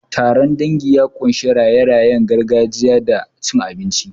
Taron dangi ya ƙunshi raye-rayen gargajiya da abinci.